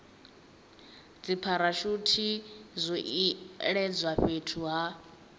dzipharashuthi zwo iledzwa fhethu ha